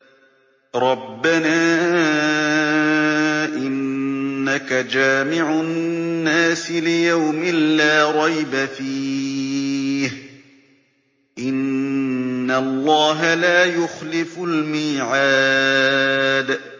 رَبَّنَا إِنَّكَ جَامِعُ النَّاسِ لِيَوْمٍ لَّا رَيْبَ فِيهِ ۚ إِنَّ اللَّهَ لَا يُخْلِفُ الْمِيعَادَ